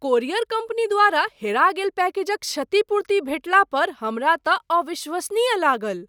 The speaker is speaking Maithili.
कोरियर कंपनी द्वारा हेरा गेल पैकेजक क्षतिपूर्ति भेटला पर हमरा तँ अविश्वसनीय लागल।